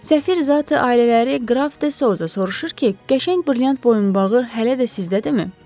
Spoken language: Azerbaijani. Səfir zati-ailələri Qraf de Sauza soruşur ki, qəşəng brilyant boyunbağı hələ də sizdədirmi?